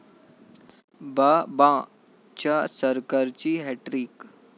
बाबां'च्या सरकारची हॅटट्रिक!